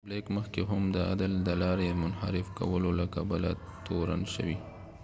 بلیک مخکی هم د عدل د لارې د منحرف کولو له کبله تورن شوی